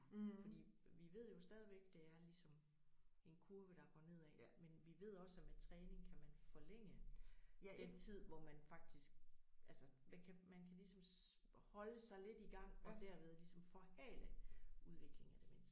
Fordi vi ved jo stadigvæk det er ligesom en kurve der går nedad men vi ved også at med træning kan man forlænge den tid hvor man faktisk altså man kan man kan ligesom holde sig lidt i gang og derved ligesom forhale udviklingen af demens